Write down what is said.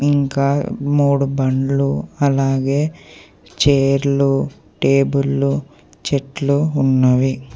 ఇంకా మూడు బండ్లు అలాగే చేర్లు టేబుల్లు చెట్లు ఉన్నవి.